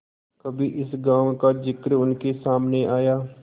कभी इस गॉँव का जिक्र उनके सामने आया